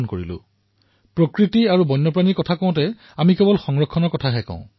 যেতিয়া আমি প্ৰকৃতি আৰু বন্যজীৱৰ কথা কও তেতিয়া কেৱল সংৰক্ষণৰ কথাহে কও